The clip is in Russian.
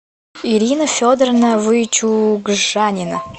ирина федоровна вычугжанина